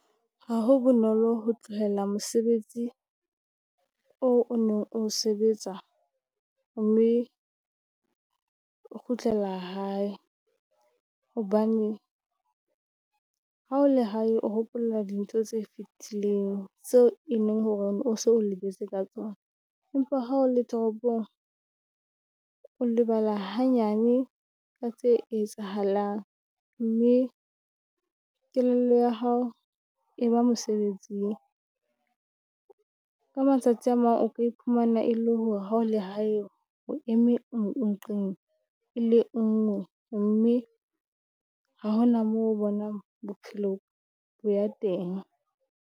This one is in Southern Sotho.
Ha ho bonolo ho tlohela mosebetsi oo o neng o sebetsa mme o kgutlela hae, hobane ha o la hae o hopola dintho tse fetileng tseo e leng hore o so o lebetse ka tsona. Empa ha o le toropong o lebala hanyane ka tse etsahalang, mme kelello ya hao e ba mosebetsing. Ka matsatsi a mang o ka iphumana e le hore ha o la hae o eme nqeng e le ngwe, mme ha ho na moo bonang bophelo bo ya teng.